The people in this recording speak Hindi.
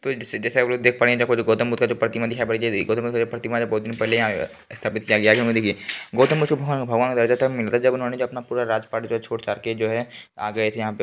तो जैसे आपलोग देख पा रहे है देखो गौतम बुद्ध का जो प्रतिमा दिखाई पड़ रहा है बहुत दिन पहले यहां पे स्थापित किया गया है देखिये गौतम बुद्ध को भगवान का दर्जा तब मिलता है जब उन्होंने जो अपना राजपाठ सब छोड़-छाड़ के जो आ गए थे यहाँ पे।